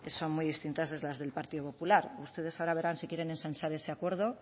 son muy distintas a las del partido popular ustedes ahora verán si quieren ensanchar ese acuerdo